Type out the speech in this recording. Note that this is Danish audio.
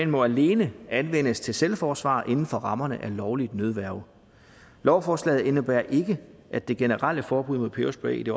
må alene anvendes til selvforsvar inden for rammerne af lovligt nødværge lovforslaget indebærer ikke at det generelle forbud mod peberspray i det